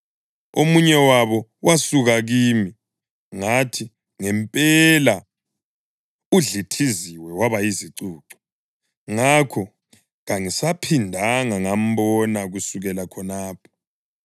Omunye wabo wasuka kimi, ngathi, “Ngempela udlithiziwe waba yizicucu.” Ngakho kangisaphindanga ngambona kusukela khonapho.